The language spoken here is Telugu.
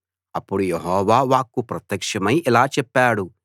అప్పుడు యెహోవా వాక్కు ప్రత్యక్షమై ఇలా చెప్పాడు